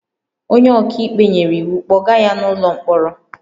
"Onye ọka ikpe nyere iwu, "kpọga ya n'ụlọ mkpọrọ"